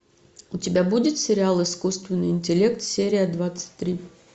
у тебя будет сериал искусственный интеллект серия двадцать три